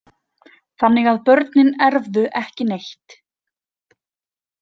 Þannig að börnin erfðu ekki neitt.